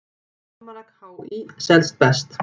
Almanak HÍ selst best